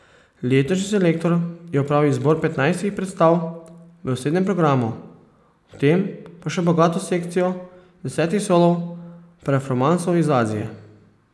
Letošnji selektor je opravil izbor petnajstih predstav v osrednjem programu, ob tem pa še bogato sekcijo desetih solo performansov iz Azije.